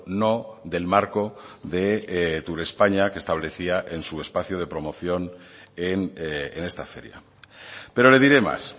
no del marco de turespaña que establecía en su espacio de promoción en esta feria pero le diré más